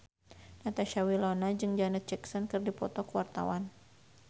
Natasha Wilona jeung Janet Jackson keur dipoto ku wartawan